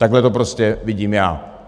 Takhle to prostě vidím já.